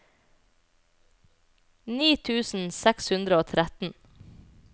ni tusen seks hundre og tretten